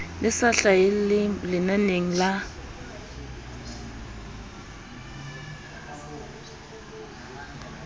le sa hlahelle lenaneng la